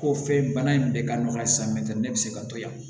Ko fɛn bana in bɛ ka nɔgɔn halisa mɛtiri bɛ se ka to yan